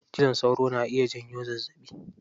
Cizon sauro na iya janyo zazzaɓi.